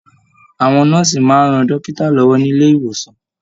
Àwọn nọ́ọ́sì máa ń rán dókítà lọwọ nilé-ìwòsàn.